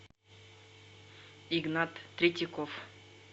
игнат третьяков